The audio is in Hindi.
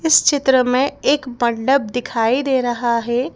इस चित्र में एक मंडप दिखाई दे रहा है।